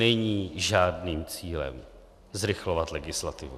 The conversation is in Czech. Není žádným cílem zrychlovat legislativu.